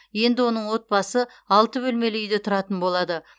енді оның отбасы алты бөлмелі үйде тұратын болады